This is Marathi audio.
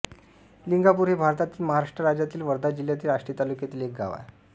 लिंगापूर हे भारतातील महाराष्ट्र राज्यातील वर्धा जिल्ह्यातील आष्टी तालुक्यातील एक गाव आहे